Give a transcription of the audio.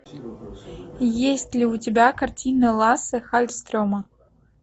есть ли у тебя картина лассе халльстрема